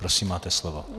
Prosím, máte slovo.